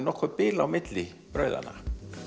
bil á milli brauðanna